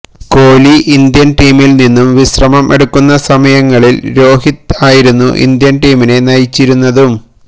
Kohli Indian ടീമിൽ നിന്നും വിശ്രമം എടുക്കുന്ന സമയങ്ങളിൽ രോഹിത് ആയിരുന്നു ഇന്ത്യൻ ടീമിനെ നയിച്ചിരുന്നതും